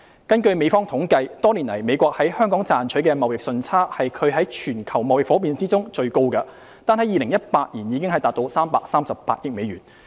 根據美方統計，多年來美國在香港賺取的貿易順差是其全球貿易夥伴中最高的，單在2018年已達338億美元。